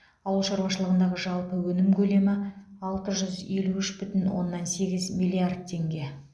ауыл шаруашылығындағы жалпы өнім көлемі алты жүз елу үш бүтін оннан сегіз миллиард теңге